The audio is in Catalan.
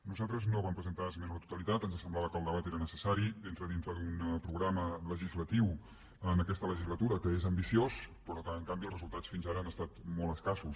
nosaltres no vam presentar esmena a la to·talitat ens semblava que el debat era necessari entra dintre d’un programa legislatiu en aquesta legislatura que és ambiciós però que en canvi els resultats fins ara han estat molt escassos